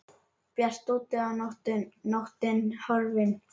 Bjart úti og nóttin horfin.